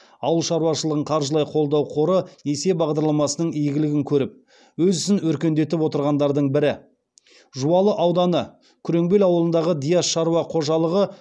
ауыл шаруашылығын қаржылай қолдау қоры несие бағдарламасының игілігін көріп өз ісін өркендетіп отырғандардың бірі жуалы ауданы күреңбел ауылындағы диас шаруа қожалығы